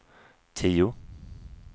tio